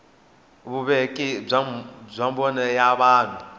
vuveki bya mbono wa vanhu